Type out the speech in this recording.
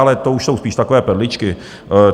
Ale to už jsou spíš takové perličky.